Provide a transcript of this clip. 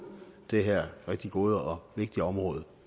det her rigtig gode og vigtige område